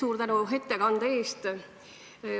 Suur tänu ettekande eest!